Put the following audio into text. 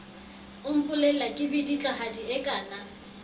o mpolella kedibitlahadi e kaana